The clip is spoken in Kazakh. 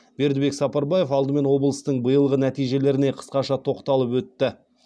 бердібек сапарбаев алдымен облыстың биылғы нәтижелеріне қысқаша тоқталып өтті